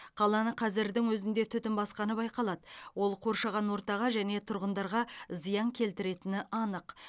қаланы қазірдің өзінде түтін басқаны байқалады ол қоршаған ортаға және тұрғындарға зиян келтіретіні анық